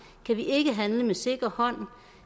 kan vi ikke handle med sikker hånd